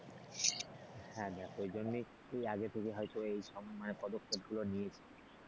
হ্যাঁ দেখো এই জন্যেই আগে থেকে হয়তো এই মানে পদক্ষেপ গুলো নিয়েছি,